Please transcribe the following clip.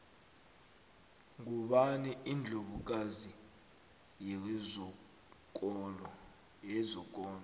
ngubani indlovu kazi yezokolo